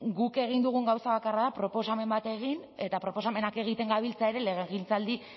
guk egin dugun gauza bakarra da proposamen bat egin eta proposamenak egiten gabiltza ere legegintzaldi